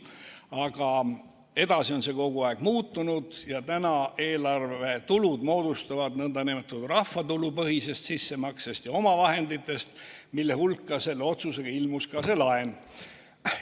Aga edasi on see kogu aeg muutunud ja nüüd moodustuvad eelarve tulud nn rahvatulupõhisest sissemaksest ja omavahenditest, mille hulka selle otsusega ilmus ka see laen.